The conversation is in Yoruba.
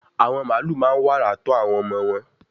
àwọn màálù máa n wàrà tọ́ àwọn ọmọ wọn